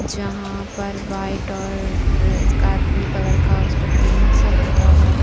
जहाँ पर व्हाइट और का ब्लू कलर का उसपे पेंट सा पुता हुआ है।